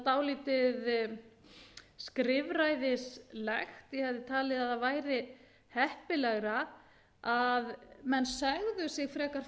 dálítið skrifræðislegt ég hefði talið að það væri heppilegra að menn segðu sig frekar